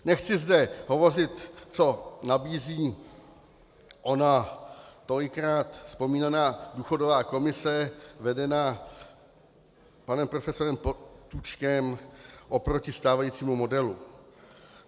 Nechci zde hovořit, co nabízí ona tolikrát vzpomínaná důchodová komise vedená panem profesorem Potůčkem oproti stávajícímu modelu.